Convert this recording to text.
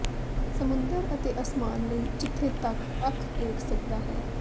ਸਮੁੰਦਰ ਅਤੇ ਅਸਮਾਨ ਲਈ ਜਿੱਥੇ ਤੱਕ ਅੱਖ ਦੇਖ ਸਕਦਾ ਹੈ